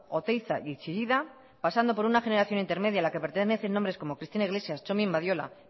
oteiza y chillida pasando por una generación intermedia a la que pertenecen nombres como cristina iglesias txomin badiola